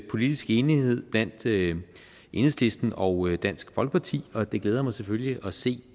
politisk enighed mellem enhedslisten og dansk folkeparti og det glæder mig selvfølgelig at se